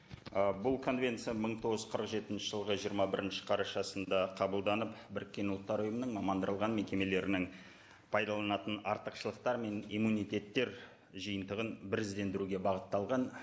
ы бұл конвенция мың тоғыз жүз қырық жетінші жылғы жиырма бірінші қарашасында қабылданып біріккен ұлттар ұйымының мекемелірінің пайдаланатын артықшылықтары мен иммунитеттер жиынтығын біріздендіруге бағытталған